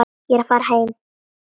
Ég er að fara heim.